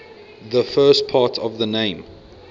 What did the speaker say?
the first part of the name